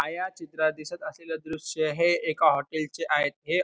छायाचित्रात दिसत असलेल द्रुश्य हे एका हॉटेल चे आहेत हे --